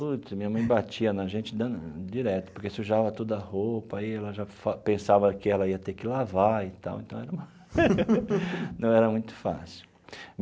Putz, minha mãe batia na gente danado direto, porque sujava tudo a roupa e ela já fa pensava que ela ia ter que lavar e tal, então era uma não era muito fácil.